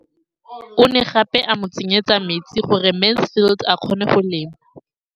O ne gape a mo tsenyetsa metsi gore Mansfield a kgone go lema.